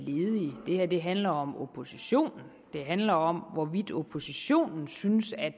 ledige det her handler om oppositionen det handler om hvorvidt oppositionen synes at